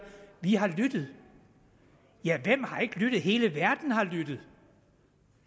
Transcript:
vi har lyttet ja hvem har ikke lyttet hele verden har lyttet